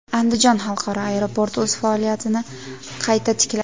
Andijon xalqaro aeroporti o‘z faoliyatini qayta tikladi.